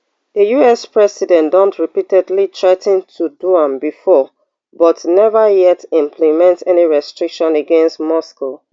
di us president don repeatedly threa ten to do am before but neva yet implement any restrictions against moscow